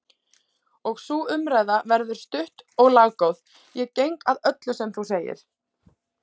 Og sú umræða verður stutt og laggóð:-Ég geng að öllu sem þú segir!